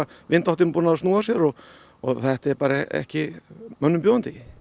vindáttin búin að snúa sér og og þetta er ekki mönnum bjóðandi